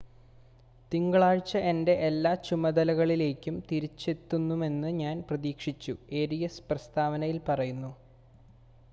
തിങ്കളാഴ്ച എൻ്റെ എല്ലാ ചുമതലകളിലേക്കും തിരിച്ചെത്തുമെന്ന് ഞാൻ പ്രതീക്ഷിക്കുന്നു ഏരിയസ് പ്രസ്താവനയിൽ പറഞ്ഞു